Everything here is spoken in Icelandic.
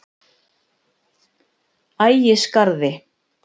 Ægisgarði